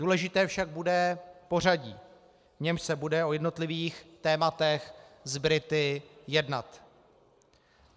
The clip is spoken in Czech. Důležité však bude pořadí, v němž se bude o jednotlivých tématech s Brity jednat.